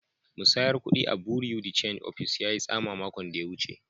Musayar kudi a'bureau de change office yayi tsama makon da ya wuce.